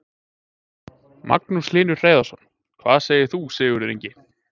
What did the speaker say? Magnús Hlynur Hreiðarsson: Hvað segir þú Sigurður Ingi?